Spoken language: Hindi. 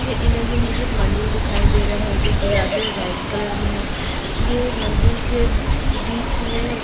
ये इमेज में मुझे एक मंदील दिखाई दे रहा है जो गुलाबी और वाइट कलर में है ये मंदिर के बिच में --